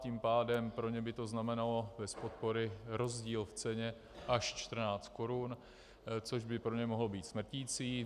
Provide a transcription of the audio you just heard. Tím pádem pro ně by to znamenalo bez podpory rozdíl v ceně až 14 korun, což by pro ně mohlo být smrtící.